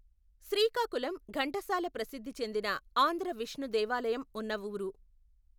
శ్రీకాకుళం ఘంటసాల ప్రసిద్ధి చెందిన ఆంధ్ర విష్ణు దేవాలయం ఉన్నవూరు.